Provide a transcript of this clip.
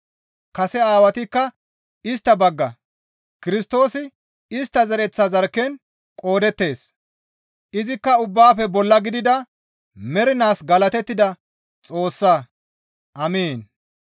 Kase Aawatikka istta bagga; Kirstoosi istta zereththa zarkken qoodettees; izikka ubbaafe bolla gidida mernaas galatettida Xoossaa. Amiin.